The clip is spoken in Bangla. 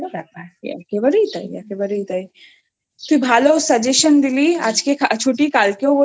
একেবারেই তাই একেবারেই তাই তুই ভালো Suggestion দিলি আজকে ছুটি কালকে